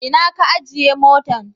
Ina ka ajiye motan?